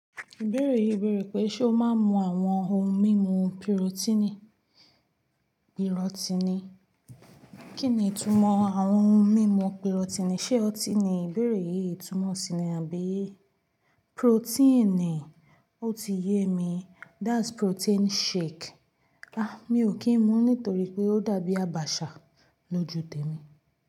Ìbéèrè yìí bèèrè pé, ṣe o máa ń mu àwọn ohun mímu pirotini? Pirotini? Kí ni ìtumọ̀ àwọn ohun mímu pirotini? Ṣé ọtí ni ìbéèrè yìí tumọ̀ si ni àbí protein? O ti yé mi. That's protein shake. Àh! Mi ò kí ń mu nítorí pé ó dàbí àbàṣà lójú tèmi.